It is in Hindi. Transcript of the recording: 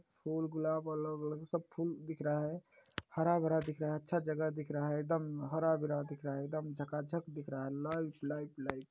फूल गुलाब अलग-अलग सब फूल दिख रहा है हरा भरा दिख रहा है अच्छा जगह दिख रहा है एकदम हरा भरा दिख रहा है एकदम झकाझक दिख रहा है लाइट लाइट --